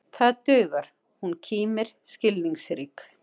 Það dugar, hún kímir skilningsrík.